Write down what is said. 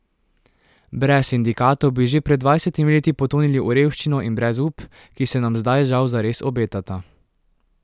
Brez sindikatov bi že pred dvajsetimi leti potonili v revščino in brezup, ki se nam zdaj žal zares obetata.